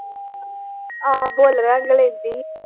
ਆਹੋ ਬੋਲਣਾ ਈ ਓ